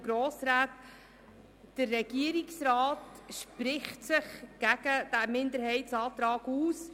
Der Regierungsrat spricht sich gegen diesen Minderheitsantrag aus.